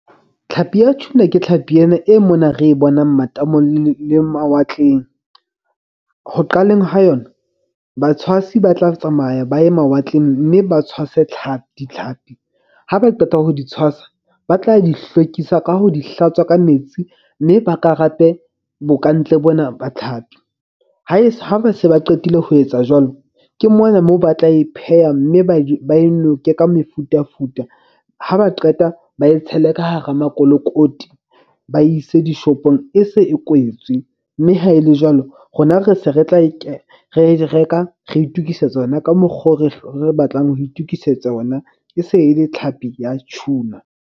Tlhapi ya tuna ke tlhapi ena e mona re e bonang matamong le mawatleng. Ho qaleng ha yona batshwasi ba tla tsamaya ba ya mawatleng. Mme ba tshwase tlhapi ditlhapi ha ba qeta ho di tshwasa ba tla di hlwekisa ka ho di hlatswa ka metsi. Mme ba karape bo kantle bona ba tlhapi. Ha ba se ba qetile ho etsa jwalo. Ke mona moo ba tla e pheha mme ba e ba e noke ka mefutafuta. Ha ba qeta ba e tshele ka hara makolokoti, ba ise di-shop-ong. E se e kwetswe, mme ha e le jwalo rona re se re tla e re reka re itukisetsa ona ka mokgo re batlang ho itukisetsa ona. E se e le tlhapi ya tuna.